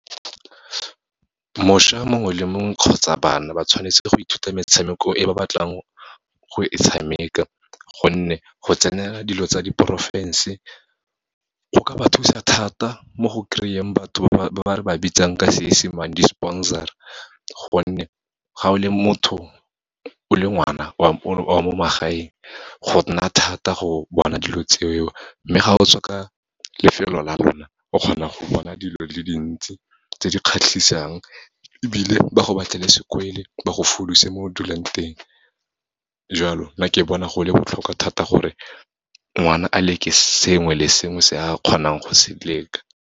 Mošwa mongwe le mongwe, kgotsa bana ba tshwanetse go ithuta metshameko e ba batlang go e tshameka, gonne go tsenela dilo tsa diporofense, go ka ba thusa thata mo go kry-eng batho ba re ba bitsang ka Seesemane, di-sponsor-a, gonne ga o le motho, o le ngwana wa mo magaeng, go nna thata go bona dilo tse o, mme ga o tswa ka lefelo la lona, o kgona go bona dilo di le dintsi, tse di kgatlhisang, ebile ba go batlela , ba go foduse mo o dulang teng. Jalo, nna ke bona go le botlhokwa thata gore ngwana a leke sengwe le sengwe se a kgonang go se leka.